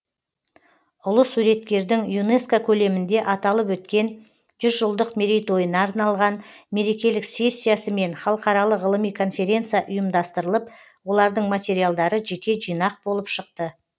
ұлы суреткердің юнеско көлемінде аталып өткен жүз жылдық мерейтойына арналған мерекелік сессиясы мен халықаралық ғылыми конференция ұйымдастырылып олардың материалдары жеке жинақ болып шықты